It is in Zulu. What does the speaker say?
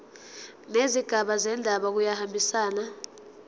nezigaba zendaba kuyahambisana